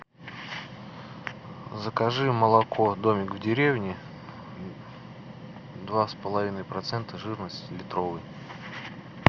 закажи молоко домик в деревне два с половиной процента жирности литровый